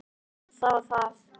Já það var það.